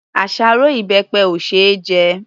Àṣárọ́ ìbẹpẹ ò ṣe é jẹ.